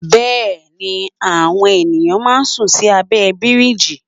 Bẹ́ẹ̀ni àwọn ènìyàn máa ń sùn sí abẹ́ bíríjì.